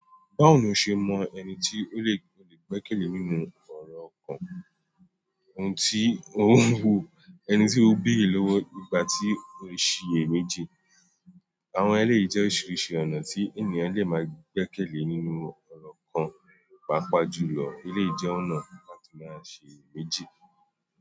Báwo lo ṣe mọ ẹni tí ó lè gbẹ́kẹ̀lé nínú ọ̀rọ̀ kan, ohun tí ó wù ẹni tí ó bèrè lówó nígbàtí ó ń ṣiyè méjì? Àwọn eleyi jẹ́ oríṣiríṣi ọ̀nà tí ènìyàn lè máa gbẹ́kẹ̀lé nínú ọ̀rọ̀ kan papa jùlọ eleyi jẹ́ ọ̀nà kan láti máa siye méjì.